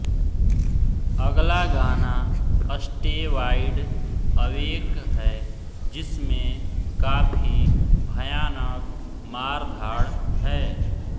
अगला गाना stay wide awake है जिसमे काफी भयानक मारधाड़ है